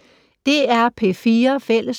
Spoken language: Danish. DR P4 Fælles